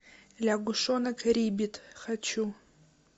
лягушонок риббит хочу